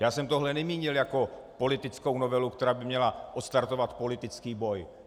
Já jsem tohle nemínil jako politickou novelu, která by měla odstartovat politický boj.